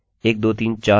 यह स्ववृद्धि होगी